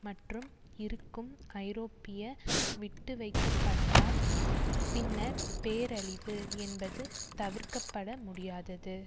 மற்றும் இருக்கும் ஐரோப்பிய விட்டு வைக்கப்பட்டால் பின்னர் பேரழிவு என்பது தவிர்க்க பட முடியாதது